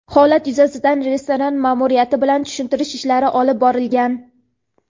holat yuzasidan restoran ma’muriyati bilan tushuntirish ishlari olib borilgan.